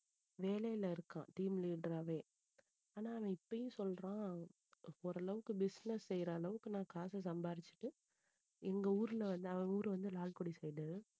வேலையில இருக்கான் team leader ஆவே ஆனா அவன் இப்பவும் சொல்றான் ஓரளவுக்கு business செய்யற அளவுக்கு நான் காசு சம்பாதிச்சிட்டு எங்க ஊர்ல வந்து அவன் ஊர் வந்து லால்குடி side